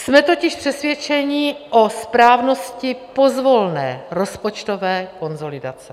Jsme totiž přesvědčeni o správnosti pozvolné rozpočtové konsolidace.